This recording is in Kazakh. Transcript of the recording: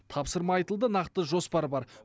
тапсырма айтылды нақты жоспар бар